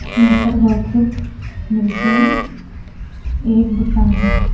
यहां पर बहोत कुछ मिलते हैं एक दुकान है।